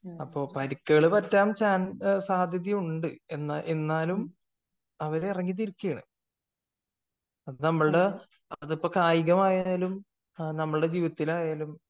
അപ്പോൾ പരുക്കുകൾ പറ്റാൻ സാധ്യത ഉണ്ട് എന്നാലും അവർ ഇറങ്ങി തിരിക്കയാണ് അതിപ്പോ നമ്മളുടെ കായികമായാലും നമ്മളെ ജീവിതത്തിലായാലും